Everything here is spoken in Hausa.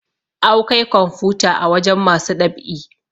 Awkai kwamfuta a wajen masu ɗab'i